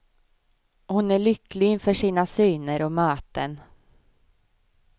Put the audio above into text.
Hon är lycklig inför sina syner och möten.